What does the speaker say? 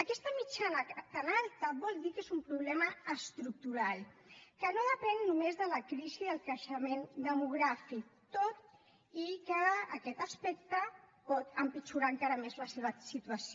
aquesta mitjana tan alta vol dir que és un problema estructural que no depèn només de la crisi del creixement demogràfic tot i que aquest aspecte pot empitjorar encara més la seva situació